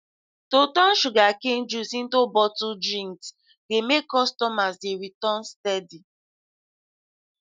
to turn sugarcane juice into bottled drinks dey make customers dey return steady